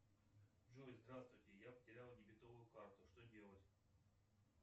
джой здравствуйте я потерял дебетовую карту что делать